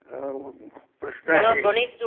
अ प्रश्न आहे